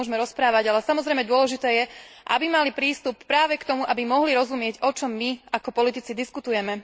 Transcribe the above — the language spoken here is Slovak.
O tom sa môžeme rozprávať, ale samozrejme dôležité je, aby mali prístup práve k tomu, aby mohli rozumieť o čom my, ako politici, diskutujeme.